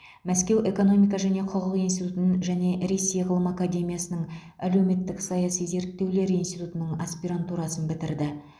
мәскеу экономика және құқық институтын және ресей ғылым академиясының әлеуметтік саяси зерттеулер институтының аспирантурасын бітірді